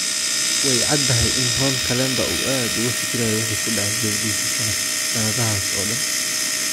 Way caddahay in Ron Kalemba uu aad uga fikirayo wixii ku dhacay gabadhiisa sannadahaas oo dhan.